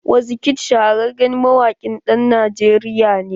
Wizkid shahararren mawaƙin ɗan Najeriya ne.